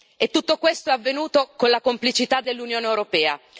E tutto questo è avvenuto con la complicità dell'Unione europea.